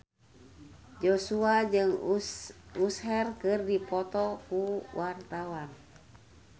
Joshua jeung Usher keur dipoto ku wartawan